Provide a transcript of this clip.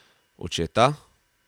Očeta?